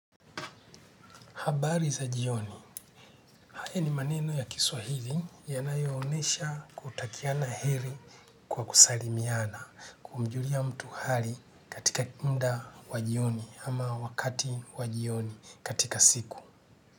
Habari za jioni, haya ni maneno ya kiswa hili yanayo onesha kutakiana heri kwa kusalimiana, kumjulia mtu hali katika muda wa jioni ama wakati wa jioni katika siku.